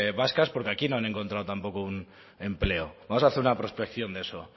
vascas porque aquí no han encontrado tampoco un empleo vamos a hacer una prospección de eso